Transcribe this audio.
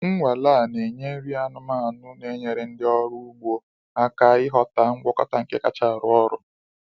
Nnwale a na-enye nri anụmanụ na-enyere ndị ọrụ ugbo aka ịghọta ngwakọta nke kacha arụ ọrụ.